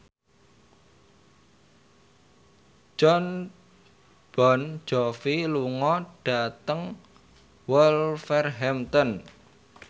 Jon Bon Jovi lunga dhateng Wolverhampton